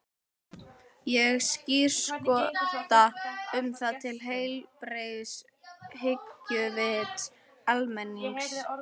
Ég skírskota um það til heilbrigðs hyggjuvits almennings.